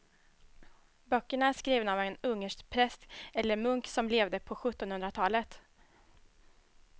Böckerna är skrivna av en ungersk präst eller munk som levde på sjuttonhundratalet.